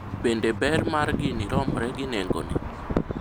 bende ber mar gini romre gi nengo ne?